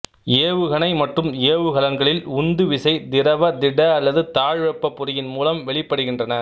ஏவுகணை மற்றும் ஏவுகலன்களில் உந்து விசை திரவ திட அல்லது தாழ்வெப்ப பொறியின் மூலம் வெளிப்படுகின்றன